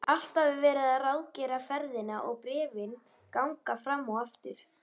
Alltaf er verið að ráðgera ferðina og bréfin ganga fram og aftur.